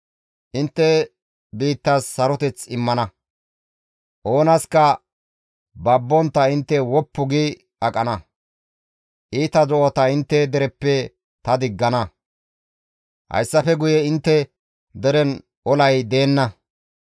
« ‹Intte biittas saroteth immana; oonaska babbontta intte woppu gi aqana; iita do7ata intte dereppe ta diggana; hayssafe guye intte deren olay deenna.